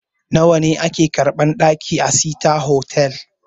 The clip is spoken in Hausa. Nawa a ke karɓan ɗaki a sita hotal?